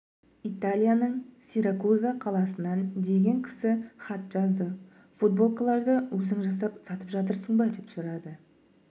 италияның сиракуза қаласынан деген кісі хат жазды футболкаларды өзің жасап сатып жатырсың ба деп сұрады